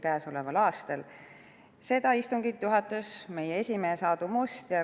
Komisjoni istungit juhatas meie esimees Aadu Must.